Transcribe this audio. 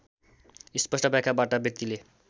स्पष्ट व्याख्याबाट व्यक्तिले